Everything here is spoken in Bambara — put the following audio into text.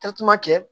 kɛ